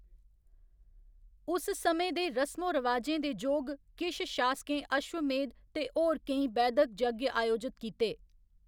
उस समें दे रसमो रवाजें दे जोग किश शासकें अश्वमेध ते होर केई वैदक यज्ञ आयोजित कीते।